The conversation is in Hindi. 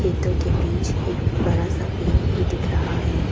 खेतो के बीच एक बड़ा सा पेड़ भी दिख रहा है ।